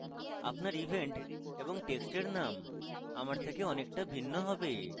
আপনার event এবং টেক্সটের names আমার থেকে অনেকটা ভিন্ন হবে